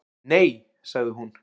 Nei, sagði hún.